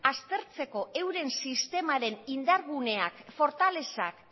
aztertzeko euren sistemaren indargunean fortalezak